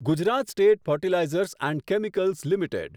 Gujarat state fertilizers and chemicals limited